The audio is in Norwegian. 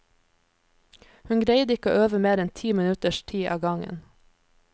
Hun greide ikke å øve mer enn ti minutters tid av gangen.